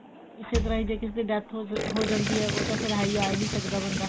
ਇਸੇ ਤਰ੍ਹਾਂ ਜੇ ਕਿਸੇ ਦੀ death ਹੋ ਜੇ ਹੋ ਜਾਂਦੀ ਐ ਉਹ ਤਾ ਫੇਰ ਆਈ ਆਈ ਨੀ ਸਕਦਾ ਬੰਦਾ